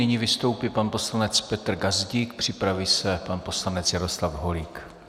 Nyní vystoupí pan poslanec Petr Gazdík, připraví se pan poslanec Jaroslav Holík.